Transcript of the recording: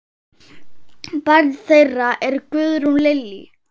Barn þeirra er Guðrún Lillý.